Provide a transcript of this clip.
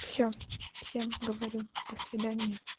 все всем говорю до свидания